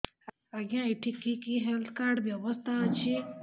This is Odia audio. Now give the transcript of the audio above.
ଆଜ୍ଞା ଏଠି କି କି ହେଲ୍ଥ କାର୍ଡ ବ୍ୟବସ୍ଥା ଅଛି